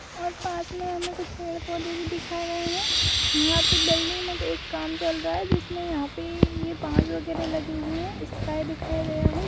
और पास में हमें कुछ पेड़-पौधे भी दिखाए गए हैं यहां पे बिल्डिंग में काम चल रहा है जिसमें यहां पे ये बांस वगैरा लगे हुए हैं स्काई दिखाई दे रहा है।